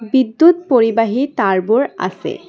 বিদ্যুৎ পৰিবাহি তাঁৰবোৰ আছে।